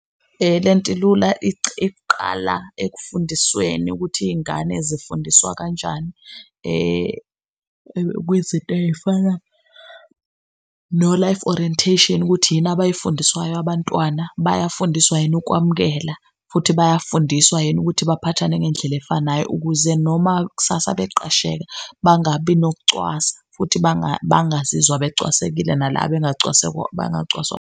Lento ilula iqala ekufundisweni ukuthi iy'ngane zifundiswa kanjani kwizinto eyifana no-Life Orientation ukuthi yini abayifundiswayo abantwana, bayafundiswa yini ukwamukela futhi bayafundiswa yini ukuthi baphathane ngendlela efanayo. Ukuze noma kusasa beqasheka, bangabi nokucwasa futhi bangazizwa becwasekile na la bangacwaswa .